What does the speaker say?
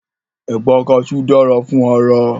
Ẹ̀pà kaṣú dára fún ara